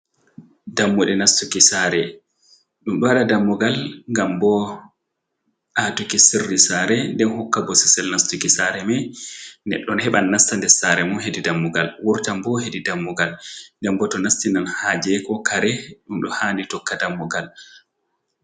Dammuɗe nastuki saare, ɗum ɗo waɗa dammugal ngam bo a tuki sirri saare, nden hokka bosesel nastuki saare mai, neɗɗo heɓan nasta nder saare mun hedi dammugal wurtan bo hedi dammugal, nden bo to nastinan haaje ko kare, ɗum ɗo handi tokka dammugal.